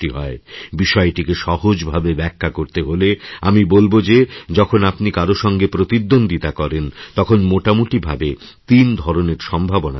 বিষয়টিকে সহজ ভাবে ব্যাখ্যা করতে হলে আমি বলব যে যখন আপনি কারও সঙ্গে প্রতিদ্বন্দিতাকরেন তখন মোটামুটিভাবে তিন ধরনের সম্ভাবনা দেখা যায়